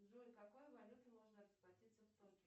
джой какой валютой можно расплатиться в токио